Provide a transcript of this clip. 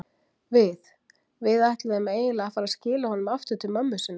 Við. við ætluðum eiginlega að fara að skila honum aftur til mömmu sinnar.